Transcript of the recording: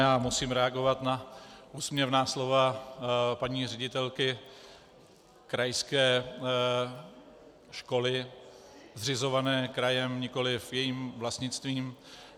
Já musím reagovat na úsměvná slova paní ředitelky krajské školy zřizované krajem, nikoliv jejím vlastnictvím.